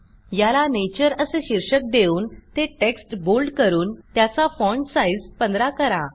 याला नेचर असे शीर्षक देऊन ते टेक्स्ट बोल्ड करून त्याचा फाँट साईज 15 करा